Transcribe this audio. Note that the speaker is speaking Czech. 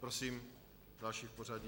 Prosím další v pořadí.